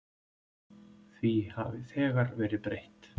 Því hafi þegar verið breytt.